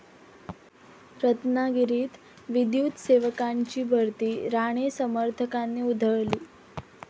रत्नागिरीत विद्युतसेवकांची भरती राणे समर्थकांनी उधळली